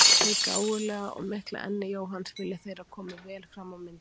Hið gáfulega og mikla enni Jóhanns vilja þeir að komi vel fram á myndinni.